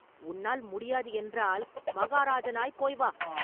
உன்னால் முடியாது என்றால் மகாராஜனாய்ப் போய் வா!